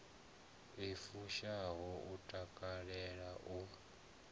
i fushaho u takalela u